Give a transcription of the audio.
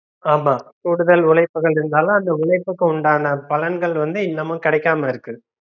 ஆமா கூடுதல் உழைப்புகள் இருந்தாலும் அந்த உழைப்புக்கு உண்டான பலன்கள் வந்து இன்னுமும் கிடைக்கமா இருக்கு